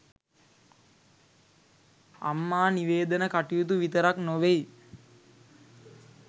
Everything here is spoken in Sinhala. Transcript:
අම්මා නිවේදන කටයුතු විතරක් නොවෙයි